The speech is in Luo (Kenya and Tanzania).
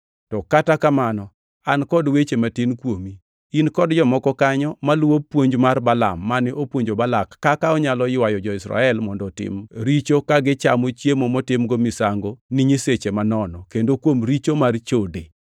To kata kamano an kod weche matin kuomi: In kod jomoko kanyo maluwo puonj mar Balaam mane opuonjo Balak kaka onyalo ywayo jo-Israel mondo otim richo ka gichamo chiemo motimgo misango ni nyiseche manono kendo kuom richo mar chode.